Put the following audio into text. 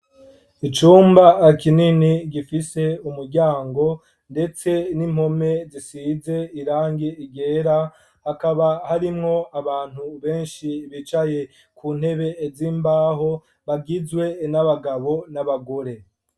icumba kinini gifise umuryango ndetse n'impome zisize irangi ryera hakaba harimwo abantu benshi bicaye kuntebe z'imbaho bagizwe n'abagabo n'abagore